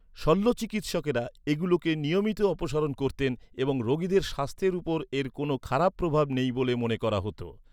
শল্যচিকিৎসকরা এগুলোকে নিয়মিত অপসারণ করতেন এবং রোগীদের স্বাস্থ্যের ওপর এর কোনো খারাপ প্রভাব নেই বলে মনে করা হত।